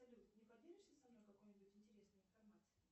салют не поделишься со мной какой нибудь интересной информацией